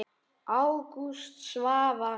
Ágúst Svavar.